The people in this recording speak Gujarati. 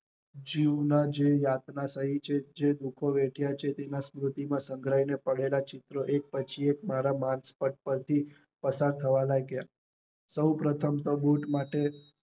જુના જેવા સહીત ની વાત છે જે લોકોએ વેઠ્યા છેતેના સ્મૃતિ માં સંઘરાયેલા પળેલા ચિત્રો એક પછી એક મારા માનસ્પદ પર થી પસાર થવા લાગ્યા સૌ પ્રથમ તો બુટ માટે